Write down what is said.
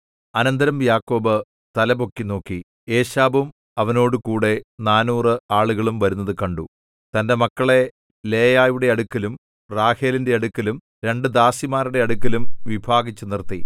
അനന്തരം യാക്കോബ് തലപൊക്കി നോക്കി ഏശാവും അവനോടുകൂടെ നാനൂറ് ആളുകളും വരുന്നത് കണ്ടു തന്റെ മക്കളെ ലേയായുടെ അടുക്കലും റാഹേലിന്റെ അടുക്കലും രണ്ടു ദാസിമാരുടെ അടുക്കലും വിഭാഗിച്ചുനിർത്തി